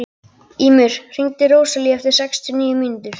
Ýmir, hringdu í Róselíu eftir sextíu og níu mínútur.